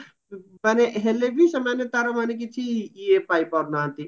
ମାନେ ହେଲେ ବି ସେମାନେ ତାର ମାନେ କିଛି ଇଏ ପାଇପାରୁନାହାନ୍ତି